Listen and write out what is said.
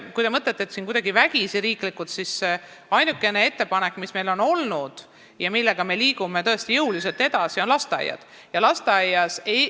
Kui te mõtlete, kas meil midagi kuidagi vägisi, riiklikult tehakse, siis ainuke ettepanek, mis meil on olnud ja millega me tõesti jõuliselt edasi liigume, on õpe lasteaias.